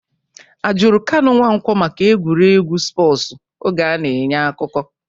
A jụrụ Kanu Nwankwo maka egwuregwu spọsu oge a na-enye akụkọ?